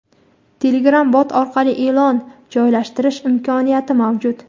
Telegram Bot orqali e’lon joylashtirish imkoniyati mavjud.